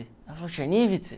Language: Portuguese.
Ela falou, Chernivtsi?